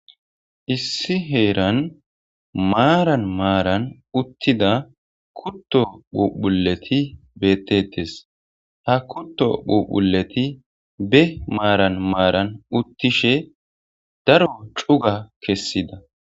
Issi heeran maaran maaran uttida kutto phuphuleti beetetees; ha kutto phuphuleti be maaran maaran uttishe daro cuga kessida